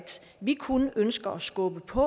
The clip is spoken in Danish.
vi kun ønsker at skubbe på